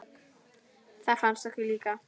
Það fannst okkur líka.